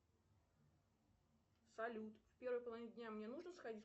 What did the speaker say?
салют в первой половине дня мне нужно сходить